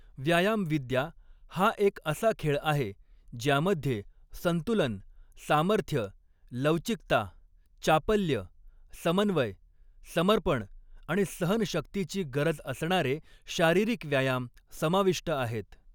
व्यायामविद्या हा एक असा खेळ आहे ज्यामध्ये संतुलन, सामर्थ्य, लवचिकता, चापल्य, समन्वय, समर्पण आणि सहनशक्तीची गरज असणारे शारीरिक व्यायाम समाविष्ट आहेत.